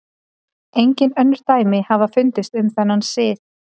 Engin önnur dæmi hafa fundist um þennan sið.